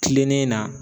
Kilennen na